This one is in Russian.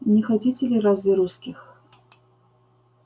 не хотите ли разве русских